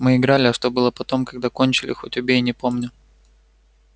мы играли а что было потом когда кончили хоть убей не помню